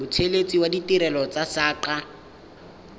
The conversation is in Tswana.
mothelesi wa ditirelo tsa saqa